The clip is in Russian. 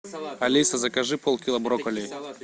алиса закажи полкило брокколи